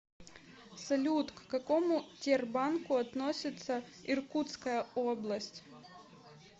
салют к какому тербанку относится иркутская область